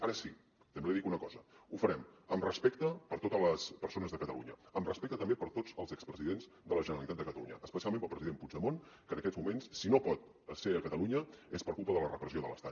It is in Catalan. ara sí també li dic una cosa ho farem amb respecte per totes les persones de catalunya amb respecte també per tots els expresidents de la generalitat de catalunya especialment pel president puigdemont que en aquests moments si no pot ser a catalunya és per culpa de la repressió de l’estat